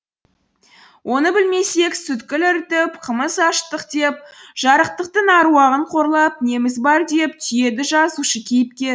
оны білмесек сүткіл ірітіп қымыз ашыттық деп жарықтықтың аруағын қорлап неміз бар деп түйеді жазушы кейіпкері